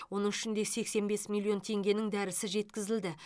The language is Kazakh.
оның ішінде сексен бес миллион теңгенің дәрісі жеткізілді